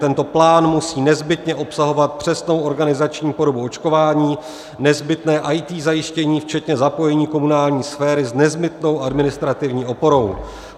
Tento plán musí nezbytně obsahovat přesnou organizační formu očkování, nezbytné IT zajištění včetně zapojení komunální sféry s nezbytnou administrativní oporou.